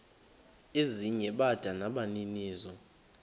ezinye bada nabaninizo